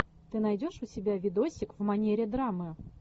ты найдешь у себя видосик в манере драмы